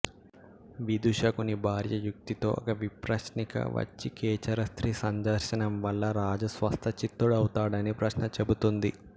విదూషకుని భార్య యుక్తితో ఒక విప్రశ్నిక వచ్చి ఖేచరస్త్రీ సందర్శనంవల్ల రాజు స్వస్థ చిత్తుడవుతాడని ప్రశ్న చెబుతుంది